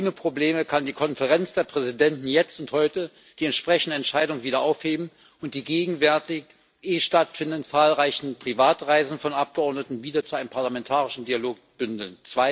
Ohne Probleme kann die Konferenz der Präsidenten jetzt und heute die entsprechende Entscheidung wieder aufheben und die gegenwärtig eh stattfindenden zahlreichen Privatreisen von Abgeordneten wieder zu einem parlamentarischen Dialog bündeln.